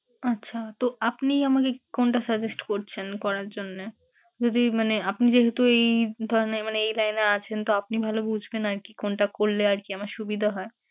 আচ্ছা তো আপনি আমাকে কোনটা suggest করছেন করার জন্যে? যদি মানে আপনি যেহেতু এই ধরেন মানে এই line এ আছেন তো আপনি ভালো বুঝবেন আরকি কোনটা করলে আরকি আমার সুবিধা হয়।